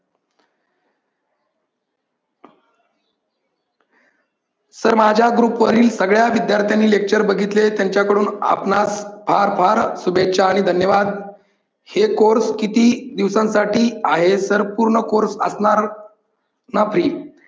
sir माझ्या group वरील सगळ्या विद्यार्थ्यांनी lecture बघितले त्यांच्याकडून आपणास फार फार शुभेच्छा आणि धन्यवाद. हे course किती दिवसांसाठी आहे sir पूर्ण course असणार ना free?